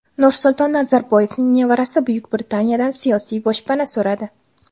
Nursulton Nazarboyevning nevarasi Buyuk Britaniyadan siyosiy boshpana so‘radi.